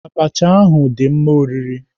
Abacha ahụ dị mma oriri.